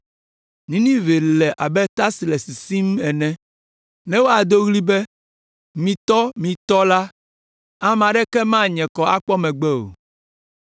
Ninive le abe ta si ƒe tsi le sisim ene. Ne woado ɣli be: “Mitɔ, mitɔ,” la, ame aɖeke manye kɔ akpɔ megbe o.